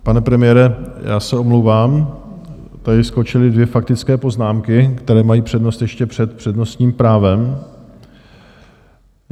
Pane premiére, já se omlouvám, tady skočily dvě faktické poznámky, které mají přednost ještě před přednostním právem.